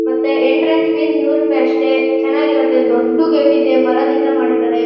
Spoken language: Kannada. ಮತ್ತೆ ಎಂಟ್ರೆನ್ಸ್ ಫೀಸ್ ನೂರು ರೂಪಾಯಿ ಅಷ್ಟೇ ಚೆನ್ನಾಗಿ ಇರುತ್ತೆ ದೊಡ್ಡು ಗೇಟ್ ಇದೆ ಮರದಿಂದ ಮಾಡಿದ್ದಾರೆ.